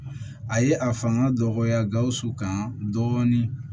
A ye a fanga dɔgɔya gawusu kan dɔɔnin